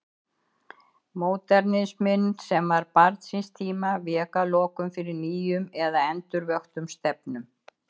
Módernisminn, sem var barn síns tíma, vék að lokum fyrir nýjum eða endurvöktum stefnum.